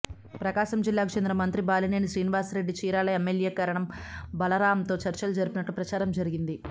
ప్రకాశం జిల్లాకు చెందిన మంత్రి బాలినేని శ్రీనివాస్రెడ్డి చీరాల ఎమ్మెల్యే కరణం బలరాంతో చర్చలు జరిపినట్లు ప్రచారం జరిగింది